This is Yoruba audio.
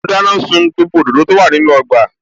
Mo dáná sun gbogbo àwọn òdòdó tí ó wà nínú ọgbà